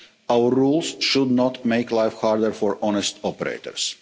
Our rules should not make life harder for honest operators.